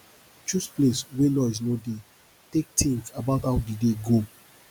choose place wey noise no dey take think about how di day go